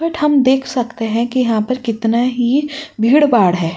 But हम देख सकते हैं की यहाँ पर कितना ही भीड़-भाड़ है।